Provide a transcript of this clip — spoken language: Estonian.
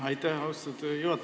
Aitäh, austatud juhataja!